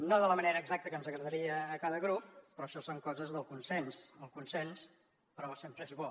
no de la manera exacta que ens agradaria a cada grup però això són coses del consens el consens però sempre és bo